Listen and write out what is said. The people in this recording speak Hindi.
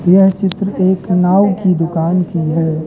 यह चित्र एक नाऊ की दुकान की है।